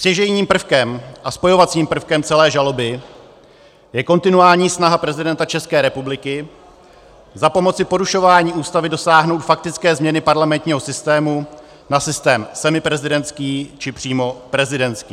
Stěžejním prvkem a spojovacím prvkem celé žaloby je kontinuální snaha prezidenta České republiky za pomoci porušování Ústavy dosáhnout faktické změny parlamentního systému na systém semiprezidentský, či přímo prezidentský.